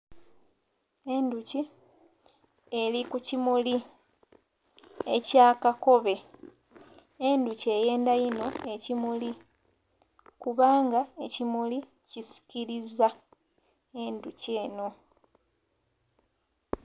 Endhuki eri ku kimuli ekya kakobe endhuki eyendha inho ekimuli kubanga kisikiliza endhuki enho.